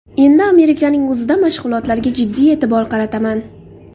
Endi Amerikaning o‘zida mashg‘ulotlarga jiddiy e’tibor qarataman.